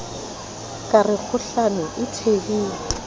ka re kgohlano e thehilwe